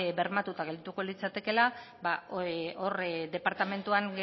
bermatuta geldituko litzatekeela hor departamentuan